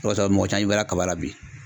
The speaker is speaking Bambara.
O kosɔn, mɔgɔ caman y'i bala kaba la bi.